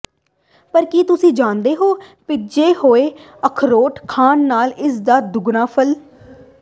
ਪਰ ਕੀ ਤੁਸੀਂ ਜਾਣਦੇ ਹੋ ਭਿੱਜੇ ਹੋਏ ਅਖਰੋਟ ਖਾਣ ਨਾਲ ਇਸ ਦਾ ਦੁੱਗਣਾ ਫਲ